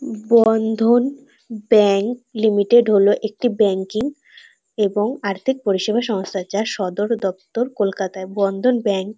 বন্ধন bank limited হল একটি banking এবং আর্থিক পরিষেবা সংস্থাচার সদর দপ্তর কলকাতায় বন্ধন ব্যাংক ।